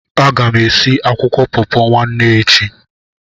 Aga m esi akwụkwọ pọọpọ nwanne echi.